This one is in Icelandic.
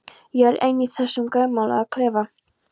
Ég er ein í þessum grænmálaða klefa.